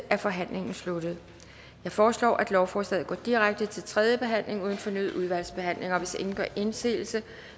er forhandlingen sluttet jeg foreslår at lovforslaget går direkte til tredje behandling uden fornyet udvalgsbehandling hvis ingen gør indsigelse